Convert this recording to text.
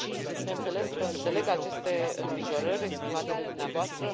Bineînțeles că înțeleg aceste îngrijorări exprimate de dumneavoastră.